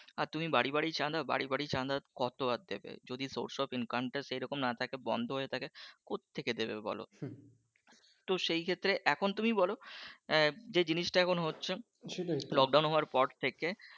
আর তুমি বাড়ি বাড়ি চাঁদা বাড়ি বাড়ি চাঁদা কতো আর দেবে যদি source of income টা সেরকম না থাকে বন্ধ হয়ে থাকে কোথ থেকে দেবে বলো? তো সেইক্ষেত্রে এখন তুমি বলো আহ যেই জিনিসটা এখন হচ্ছে lockdown হওয়ার পর থেকে,